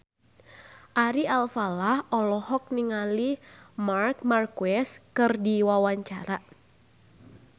Ari Alfalah olohok ningali Marc Marquez keur diwawancara